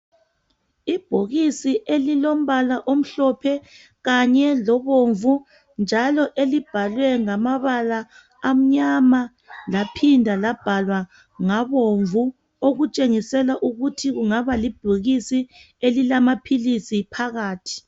Ibhokisi elilombala omhlophe kanye lomvu, elibhalwe ngamabala amnyama laphinda labhalwa ngabomvu okutshengisela ukuthi kungaba libhokisi elilamaphilisi phakathi.